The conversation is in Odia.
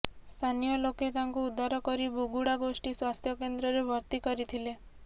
ସ୍ଥାନୀୟ ଲୋକେ ତାଙ୍କୁ ଉଦ୍ଧାର କରି ବୁଗୁଡ଼ା ଗୋଷ୍ଠୀ ସ୍ୱାସ୍ଥ୍ୟକେନ୍ଦ୍ରରେ ଭର୍ତ୍ତି କରିଥିଲେ